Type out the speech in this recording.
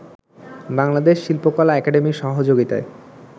বাংলাদেশ শিল্পকলা একাডেমীর সহযোগিতায়